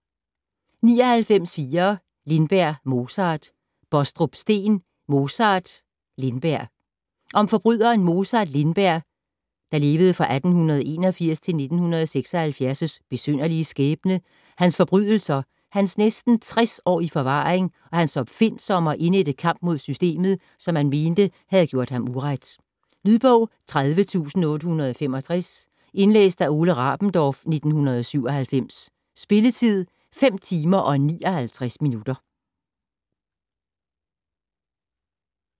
99.4 Lindberg, Mozart Bostrup, Steen: Mozart Lindberg Om forbryderen Mozart Lindbergs (1881-1976) besynderlige skæbne, hans forbrydelser, hans næsten 60 år i forvaring og hans opfindsomme og indædte kamp mod systemet, som han mente havde gjort ham uret. Lydbog 30865 Indlæst af Ole Rabendorf, 1997. Spilletid: 5 timer, 59 minutter.